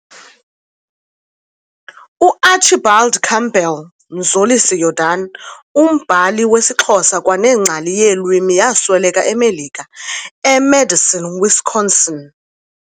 UArchibald Campbell Mzolisa Jordan, umbhali wesiXhosa kwanengcali yeelwimi yasweleka eMelika, eMadison Wisconsin.